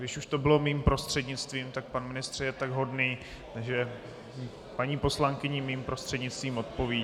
Když už to bylo mým prostřednictvím, tak pan ministr je tak hodný, že paní poslankyni mým prostřednictvím odpoví.